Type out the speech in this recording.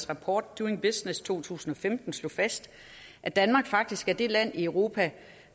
rapport doing business to tusind og femten slog fast at danmark faktisk er det land i europa